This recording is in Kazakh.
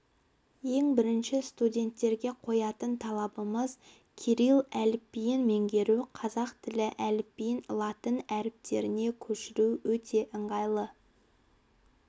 ең бірінші студенттерге қоятын талабымыз кирилл әліпбиін меңгеру қазақ тілі әліпбиін латын әріптеріне көшіру өте ыңғайлы